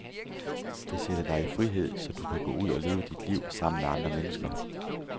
Det sætter dig i frihed, så du kan gå ud og leve dit liv sammen med andre mennesker.